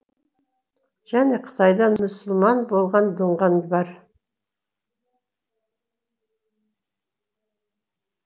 және қытайдан мұсылман болған дұңған бар